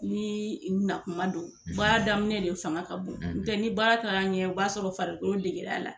Ni u na kuma don baara daminɛ de fanga ka bon , ni baara taara ɲɛ o b'a sɔrɔ farikolo degir'a la.